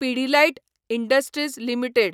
Pidilite industries limited